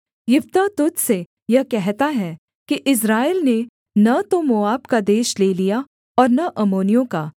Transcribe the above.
यिप्तह तुझ से यह कहता है कि इस्राएल ने न तो मोआब का देश ले लिया और न अम्मोनियों का